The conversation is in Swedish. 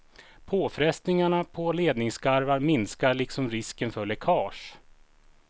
Påfrestningarna på ledningsskarvar minskar liksom risken för läckage.